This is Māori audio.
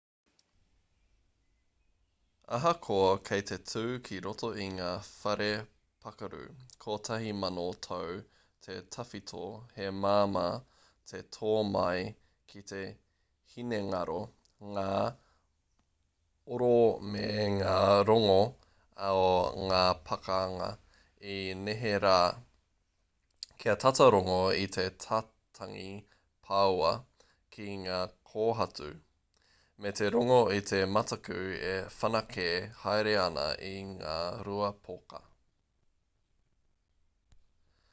ahakoa kei te tū ki roto i ngā whare pakaru kotahi mano tau te tawhito he māmā te tō mai ki te hinengaro ngā oro me ngā rongo o ngā pakanga i neherā kia tata rongo i te tatangi pāua ki ngā kōhatu me te rongo i te mataku e whanake haere ana i ngā rua poka